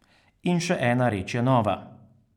In še ena reč je nova.